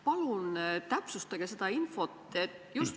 Palun täpsustage seda infot.